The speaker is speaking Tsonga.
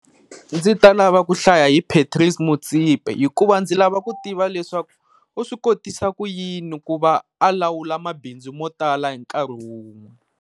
Ndzi ta lava ku hlaya hi Patrice Motsepe, hikuva ndzi lava ku tiva leswaku u swi kotisa ku yini ku va a lawula mabindzu mo tala hinkarhi wun'we.